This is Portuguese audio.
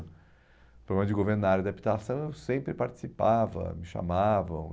Programas de governo na área da habitação, eu sempre participava, me chamavam.